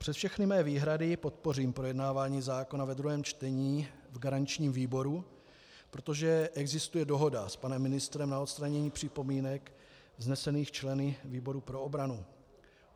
Přes všechny své výhrady podpořím projednávání zákona ve druhém čtení v garančním výboru, protože existuje dohoda s panem ministrem na odstranění připomínek vznesených členy výboru pro obranu.